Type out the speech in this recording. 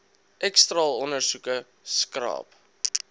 x straalondersoeke skraap